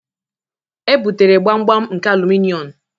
Ebutere gbamgbam nke alụmịọn.